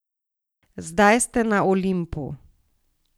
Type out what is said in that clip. Zdaj ste na Olimpu.